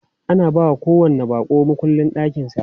Ana bawa kowanni baƙo mukullin ɗakin sa.